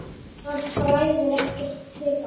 Það bræðir ekkert þeirra.